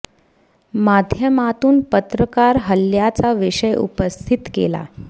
माध्यमातून पत्रकार हल्ल्याचा विषय उपस्थित केला